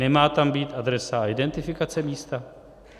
Nemá tam být adresa a identifikace místa?